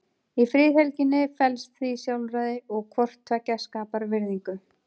Í friðhelginni felst því sjálfræði og hvort tveggja skapar virðingu.